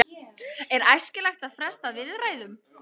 Er æskilegt að fresta viðræðum?